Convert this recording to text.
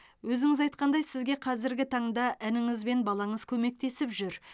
өзіңіз айтқандай сізге қазіргі таңда ініңіз бен балаңыз көмектесіп жүр